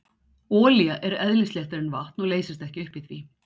Olía er eðlisléttari en vatn og leysist ekki upp í því.